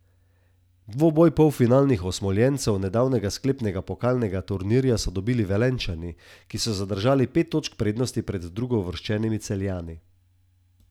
Dvoboj polfinalnih osmoljencev nedavnega sklepnega pokalnega turnirja so dobili Velenjčani, ki so zadržali pet točk prednosti pred drugouvrščenimi Celjani.